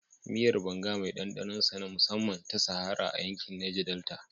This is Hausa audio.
Miyar banga mai ɗanɗanon sa na musamman, ta shahara a yankin Neja Delta